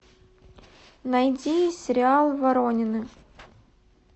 найди сериал воронины